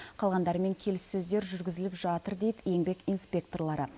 қалғандарымен келіссөздер жүргізіліп жатыр дейді еңбек инспекторлары